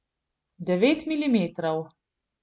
Devet milimetrov.